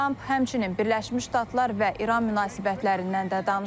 Tramp həmçinin Birləşmiş Ştatlar və İran münasibətlərindən də danışıb.